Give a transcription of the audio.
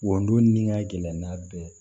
Wondon ni ŋɛlɛn n'a bɛɛ